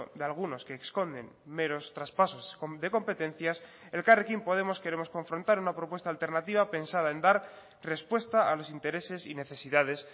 de algunos que esconden meros traspasos de competencias elkarrekin podemos queremos confrontar una propuesta alternativa pensada en dar respuesta a los intereses y necesidades